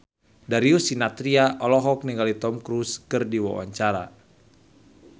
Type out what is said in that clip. Darius Sinathrya olohok ningali Tom Cruise keur diwawancara